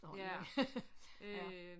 Ja øh